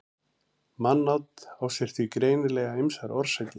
mannát á sér því greinilega ýmsar orsakir